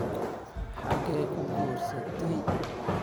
Xagee ku guursatay?